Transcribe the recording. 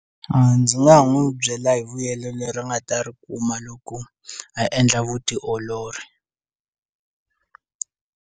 A ndzi nga n'wi byela hi vuyelo leri nga ta ri kuma loko a endla vutiolori.